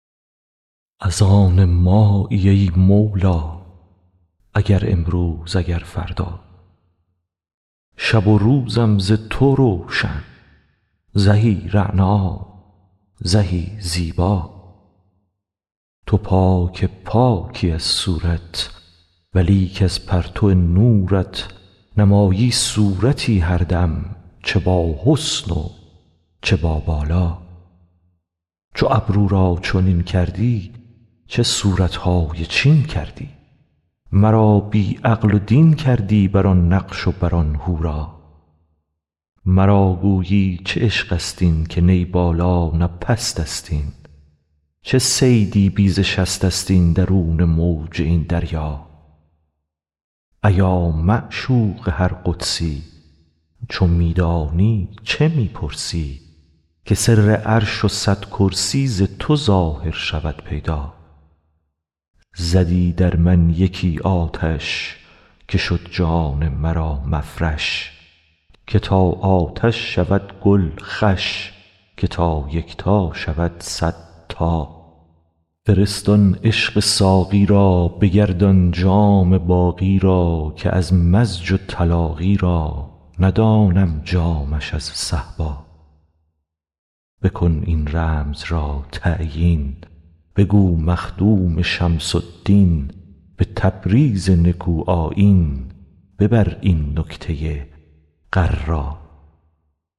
از آن مایی ای مولا اگر امروز اگر فردا شب و روزم ز تو روشن زهی رعنا زهی زیبا تو پاک پاکی از صورت ولیک از پرتو نورت نمایی صورتی هر دم چه باحسن و چه بابالا چو ابرو را چنین کردی چه صورت های چین کردی مرا بی عقل و دین کردی بر آن نقش و بر آن حورا مرا گویی چه عشقست این که نی بالا نه پستست این چه صیدی بی ز شستست این درون موج این دریا ایا معشوق هر قدسی چو می دانی چه می پرسی که سر عرش و صد کرسی ز تو ظاهر شود پیدا زدی در من یکی آتش که شد جان مرا مفرش که تا آتش شود گل خوش که تا یکتا شود صد تا فرست آن عشق ساقی را بگردان جام باقی را که از مزج و تلاقی را ندانم جامش از صهبا بکن این رمز را تعیین بگو مخدوم شمس الدین به تبریز نکوآیین ببر این نکته غرا